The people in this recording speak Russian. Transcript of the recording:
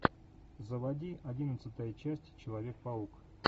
заводи одиннадцатая часть человек паук